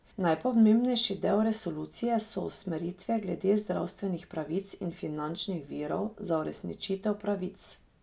Najpomembnejši del resolucije so usmeritve glede zdravstvenih pravic in finančnih virov za uresničitev pravic.